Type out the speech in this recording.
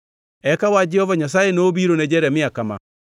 Eka wach Jehova Nyasaye nobiro ne Jeremia kama: